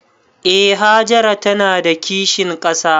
Eh Hajara ta na da kishin ƙasa